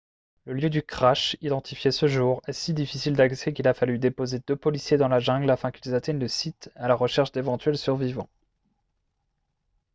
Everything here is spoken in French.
le lieu du crash identifié ce jour est si difficile d'accès qu'il a fallu déposer deux policiers dans la jungle afin qu'ils atteignent le site à la recherche d'éventuels survivants